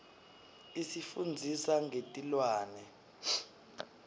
isifundzisa ngetilwane